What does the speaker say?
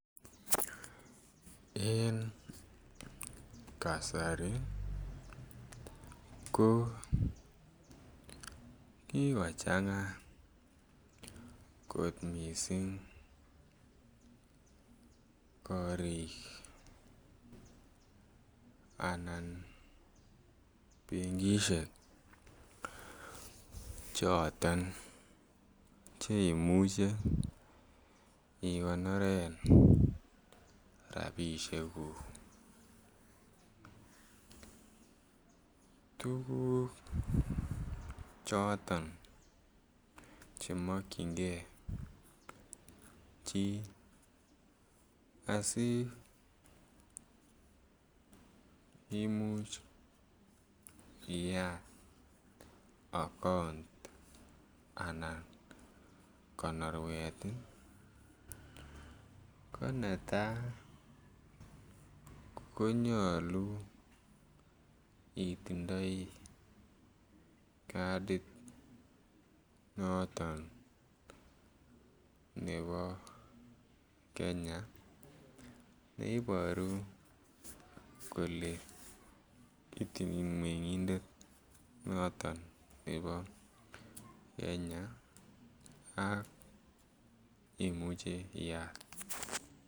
En kasari ko kikochanga kot mising korik anan benkisiek choton Che imuche igonoren rabisiekuk tuguk choton Che makyingei chi asi kimuch iyat account anan konoruet ko netai ko nyolu itindoi kadit noton nebo Kenya neiboru kole I mengindet noton nebo Kenya ak imuche iyat